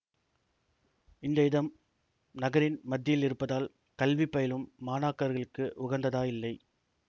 இந்த இடம் நகரின் மத்தியில் இருப்பதால் கல்வி பயிலும் மாணாக்கர்களுக்கு உகந்ததாயில்லை